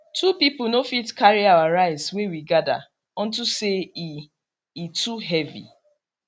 two people no fit carry our rice wey we gather unto say e e too heavy